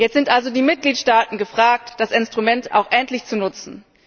Jetzt sind also die Mitgliedstaaten gefragt, das Instrument auch endlich zu nutzen.